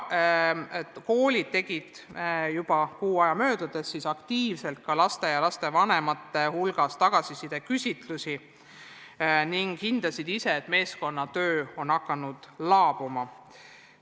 Koolid tegid juba kuu aja möödudes aktiivselt ka laste ja lastevanemate hulgas tagasisideküsitlusi ning hindasid ise, kuidas meeskonnatöö on hakanud laabuma.